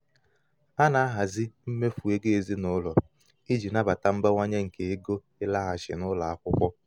a na-ahazi mmefu ego ezinụlọ iji um nabata mbawanye nke ego ịlaghachi um n'ụlọ akwụkwọ.